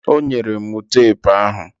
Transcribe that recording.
Ọ nyela m tepu ahụ